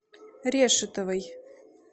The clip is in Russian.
решетовой